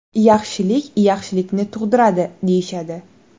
Yaxshilik yaxshilikni tug‘diradi, deyishadi.